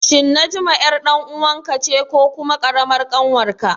Shin Najma ƴar ɗan uwanka ce ko kuma ƙaramar ƙanwarka?